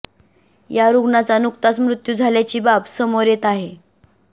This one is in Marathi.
या रुग्णाचा नुकताच मृत्यू झाल्याची बाब समोर येत आहे